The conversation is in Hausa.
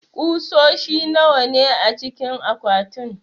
kusoshi nawa ne acikin akwatin?